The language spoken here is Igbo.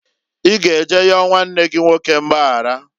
I ga eje yọọ nwanne gi nwoke mgbayaraǃ